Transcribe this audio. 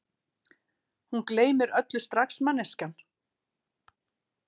Hún gleymir öllu strax manneskjan.